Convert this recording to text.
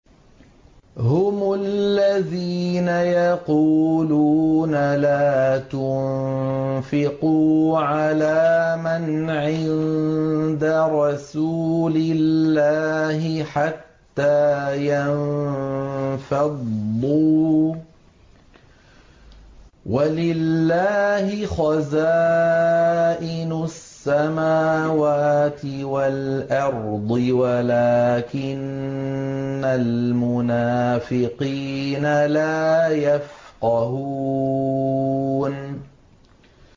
هُمُ الَّذِينَ يَقُولُونَ لَا تُنفِقُوا عَلَىٰ مَنْ عِندَ رَسُولِ اللَّهِ حَتَّىٰ يَنفَضُّوا ۗ وَلِلَّهِ خَزَائِنُ السَّمَاوَاتِ وَالْأَرْضِ وَلَٰكِنَّ الْمُنَافِقِينَ لَا يَفْقَهُونَ